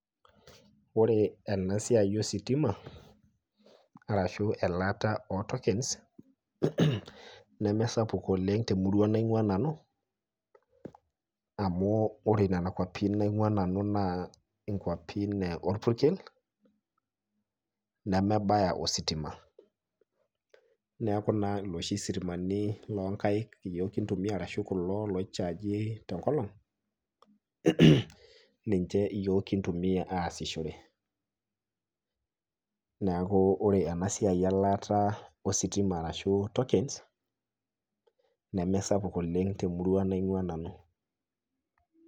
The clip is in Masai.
Ore ena siai ositima,a ashu elaata ootokens, nemesapuk oleng temurua naingua nanu amu ore nena kwapi naingua nanu naa kwapi orpurkel nemebaya ositima ,neeku naa loshi sitimani loonkaek yiok kintumiya ashu kulo lochagi tenkolong ,ninche yiok kintumiya aasishore .neeku ore ena siai elaata ositima ashu tokens nemisapuk oleng temurua naingua nanu.